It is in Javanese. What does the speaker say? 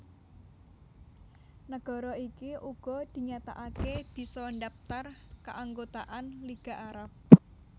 Nagara iki uga dinyatakaké bisa ndhaptar kaanggotaan Liga Arab